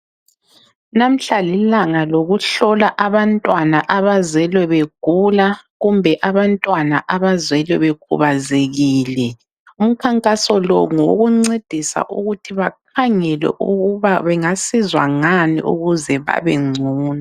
Lamhla lilanga lokuhlola abantwana abazelwe begula kumbe abantwana abazelwe bekhubazekile. Umkhankaso lo ngowokuncedisa ukuthi bakhangelwe ukuba bengasizwa ngani ukuze babengcono.